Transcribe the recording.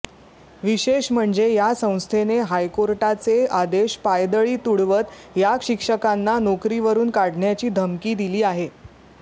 विशेष म्हणजे या संस्थेने हायकोर्टाचे आदेश पायदळी तुडवत या शिक्षकांना नोकरीवरून काढण्याची धमकी दिली आहे